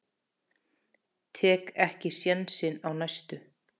Tek ekki sénsinn á næstu.